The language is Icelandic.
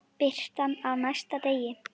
Birtan á næsta degi.